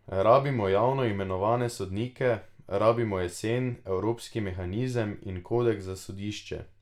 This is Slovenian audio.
Rabimo javno imenovane sodnike, rabimo jasen evropski mehanizem in kodeks za sodišče.